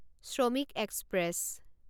শ্ৰমিক এক্সপ্ৰেছ